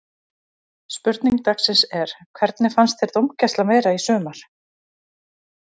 Spurning dagsins er: Hvernig fannst þér dómgæslan vera í sumar?